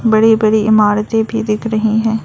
बड़े बड़े इमारतें भी दिख रही हैं।